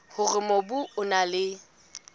hore mobu o na le